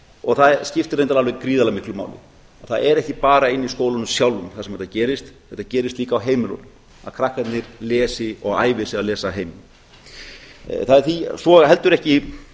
og það skiptir reyndar alveg gríðarlega miklu máli það er ekki bara inni í skólanum sjálfum þar sem þetta gerist þetta gerist líka á heimilunum að krakkarnir lesi og æfi sig að lesa heima svo er heldur ekki